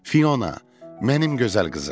Fiona, mənim gözəl qızım.